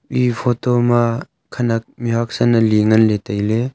eya photo ma khanak mihhuak san ali ngan le taile.